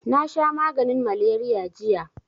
Nasha maganin maleriya jiya